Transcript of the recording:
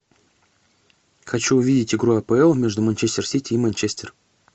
хочу увидеть игру апл между манчестер сити и манчестер